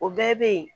O bɛɛ bɛ yen